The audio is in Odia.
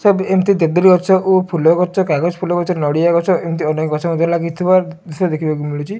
ସବୁ ଏମତି ଦେବଦାରୁ ଗଛ ଓ ଫୁଲ ଗଛ କାଗଜ ଫୁଲ ଗଛ ନଡ଼ିଆ ଗଛ ଏମତି ଅନେକ ଗଛ ମଧ୍ୟ ଲାଗିଥିବାର ଦୃଶ୍ୟ ଦେଖିବାକୁ ମିଳୁଚି।